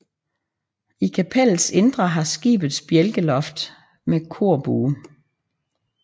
I kapellets indre har skibet bjælkeloft med korbue